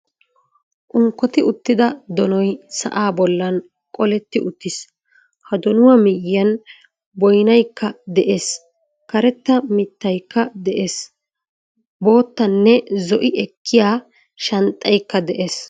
Unkkotti uttida donoy sa'aa bollan qoletti uttiis. Ha donuwa miyiyan moynnakka de'ees. Karetta biittaykka de'ees. Boottanne zo'i ekkiya shanxxaykka de'ees.